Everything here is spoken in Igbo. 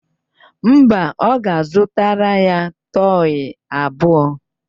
Mba, ọ ga-azụtara ya tọyị abụọ